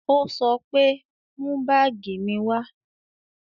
Ó sọ pé "Mú báàgì mi wá"